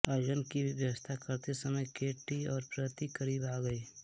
आयोजन की व्यवस्था करते समय के टी और प्रीति करीब आ गई